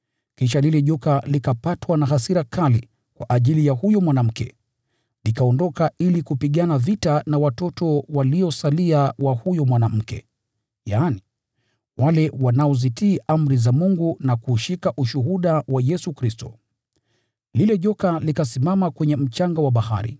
Kisha lile joka likapatwa na hasira kali kwa ajili ya huyo mwanamke na likaondoka ili kupigana vita na watoto waliosalia wa huyo mwanamke, yaani, wale wanaozitii amri za Mungu na kuushika ushuhuda wa Yesu Kristo. Lile joka likasimama kwenye mchanga wa bahari.